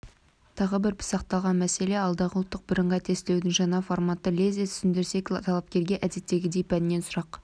тағы бір пысықталған мәселе алдағы ұлттық бірыңғай тестілеудің жаңа форматы лезде түсіндірсек талапкерге әдеттегідей пәннен сұрақ